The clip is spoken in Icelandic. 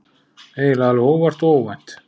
Eiginlega alveg óvart og óvænt.